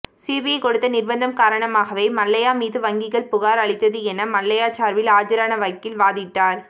CBI கொடுத்த நிர்பந்தம் காரணமாகவே மல்லையா மீது வங்கிகள் புகார் அளித்தது என மல்லையா சார்பில் ஆஜரான வக்கீல் வாதிட்டார்